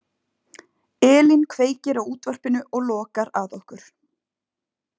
Elín kveikir á útvarpinu og lokar að okkur.